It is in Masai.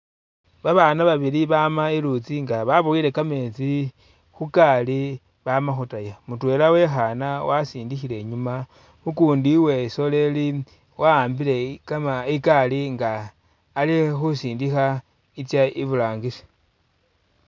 Babana babili bama iluutsi nga babuwele kameetsi khukaali bama khutaya mutwela wekhana wasindikhile inyuma ukundi wesoleli wahanbile ikaali inga ali khusindikha itsa iburangisi.